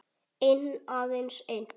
Einn, aðeins einn